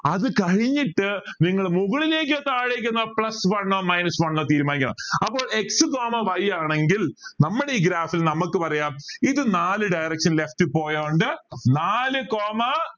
അത് കഴിഞ്ഞിട്ട് നിങ്ങൾ മുകളിലേക്ക് താഴേക്ക് plus one minus one തീരുമാനിക്കണം അപ്പോൾ x coma y ആണെങ്കിൽ നമ്മളെ ഈ graph ൽ നമുക്ക് പറയാം ഇത് നാല് direction left പോയോണ്ട് നാല് coma